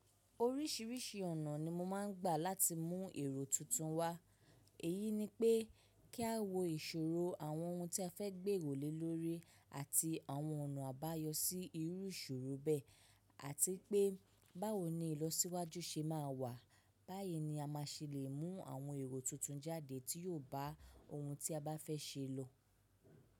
Oríṣìíríṣìí ọ̀nà ni mo máa ń gbà láti mú èrò tuntun wá. Èyí ni pé kí a wo ìṣòro àwọn ohun tí a fẹ́ gbé wòlé lórí àti àwọn ọ̀nà àbáyọ sí irú ìṣòro bẹ́ẹ̀ àti pé báwo ni ìlọsíwájú ṣe máa wà. Báyìí ni a má ṣelè mú àwọn èrò tuntun jáde tí yóò bá ohun tí a bá fẹ́ ṣe lọ.